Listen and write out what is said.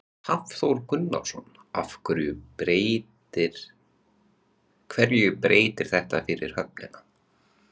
Hafþór Gunnarsson: Hverju breytir þetta fyrir höfnina?